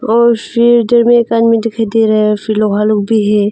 और सिलेंडर में एक आदमी दिखाई दे रहा है फिर लोहा लोग भी है।